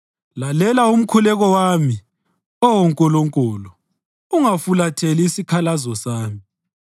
Lalela umkhuleko wami, Oh Nkulunkulu, ungafulatheli isikhalazo sami;